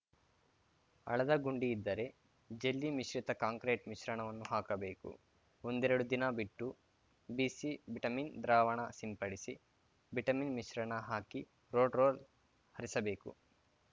ಅಳದ ಗುಂಡಿ ಇದ್ದರೆ ಜಲ್ಲಿ ಮಿಶ್ರಿತ ಕಾಂಕ್ರೀಟ್‌ ಮಿಶ್ರಣವನ್ನು ಹಾಕಬೇಕು ಒಂದೆರಡು ದಿನ ಬಿಟ್ಟು ಬಿಸಿ ಬಿಟಮಿನ್‌ ದ್ರಾವಣ ಸಿಂಪಡಿಸಿ ಬಿಟಮಿನ್‌ ಮಿಶ್ರಣ ಹಾಕಿ ರೋಡ್‌ ರೋಲ್ ಹರಿಸಬೇಕು